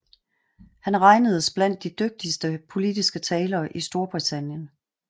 Han regnedes blandt de dygtigste politiske talere i Storbritannien